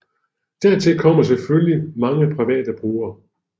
Dertil kommer selvfølgelig mange private brugere